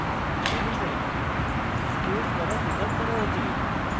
elements space দ্বারা পৃথক করা উচিত